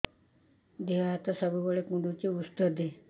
ଦିହ ହାତ ସବୁବେଳେ କୁଣ୍ଡୁଚି ଉଷ୍ଧ ଦେ